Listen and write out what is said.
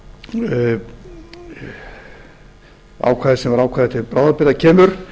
ákvæði sem ákvæði þar sem ákvæði til bráðabirgða kemur